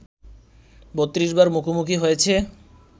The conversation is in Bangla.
৩২ বার মুখোমুখি হয়েছে